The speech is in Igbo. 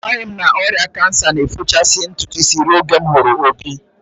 Amaghị m na ọrịa kansa na-efochasị ntụtụ ruo oge m hụrụ Obi